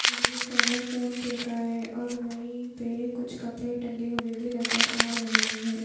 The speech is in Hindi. और वो स्कैनर फोन पे का है और वहीं पे कुछ कपड़े टंगे हुए भी नजर आ रहे हैं।